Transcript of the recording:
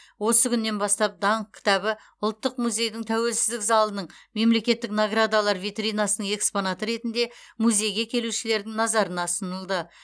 осы күннен бастап даңқ кітабы ұлттық музейдің тәуелсіздік залының мемлекеттік наградалар витринасының экспонаты ретінде музейге келушілердің назарына ұсынылды